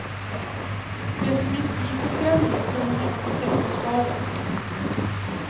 Det som inte gick att sälja tog hon hem till sig och sparade på.